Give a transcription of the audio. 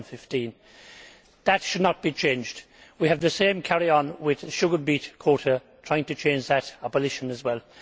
2015. That should not be changed. We have the same carry on with the sugar beet quota, trying to change that abolition as well.